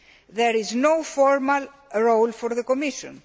There is no formal role for the Commission.